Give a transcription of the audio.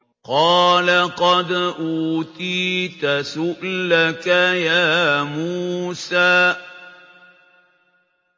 قَالَ قَدْ أُوتِيتَ سُؤْلَكَ يَا مُوسَىٰ